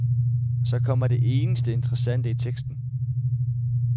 Så kommer det eneste interessante i teksten.